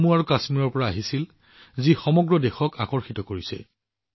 জম্মু আৰু কাশ্মীৰৰ কিছুমান ছবিয়ে সমগ্ৰ দেশৰ হৃদয়ক আকৰ্ষিত কৰিছিল